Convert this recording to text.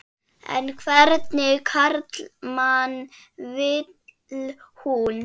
En hvernig karlmann vil hún?